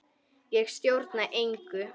Ég stjórna engu.